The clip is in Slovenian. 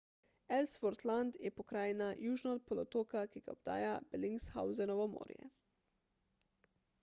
ellsworth land je pokrajina južno od polotoka ki ga obdaja bellingshausenovo morje